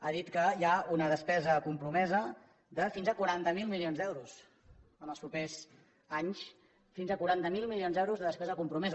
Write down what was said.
ha dit que hi ha una despesa compromesa de fins a quaranta miler milions d’euros en els propers anys fins a quaranta miler milions d’euros de despesa compromesa